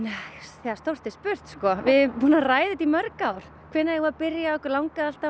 þegar stórt er spurt sko við búin að ræða þetta í mörg ár hvenær eigum við að byrja okkur langaði alltaf